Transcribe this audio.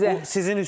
Bu sizincünndür.